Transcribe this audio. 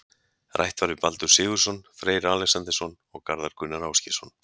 Rætt var við Baldur Sigurðsson, Freyr Alexandersson og Garðar Gunnar Ásgeirsson.